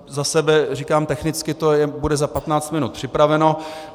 Za sebe říkám, technicky to bude za 15 minut připraveno.